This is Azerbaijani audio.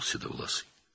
Saçağlı başını tərpətdi.